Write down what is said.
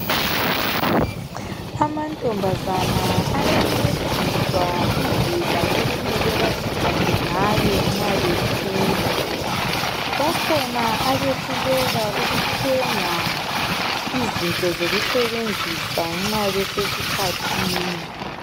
Amantombazana ayancediswa indlela okumele baziphathe ngayo nxa bekhula, bakhona abehluleka ukuthenga izinto zokusebenzisa nxa besesikhathini.